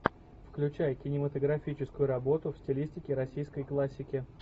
включай кинематографическую работу в стилистике российской классики